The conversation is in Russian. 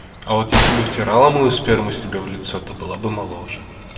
а вот если бы втирала мою сперму себе в лицо то была бы моложе